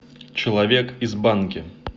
человек из банки